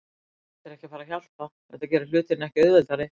Þetta er ekki að fara að hjálpa, þetta gerir hlutina ekki auðveldari.